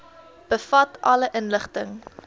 bevat alle inligting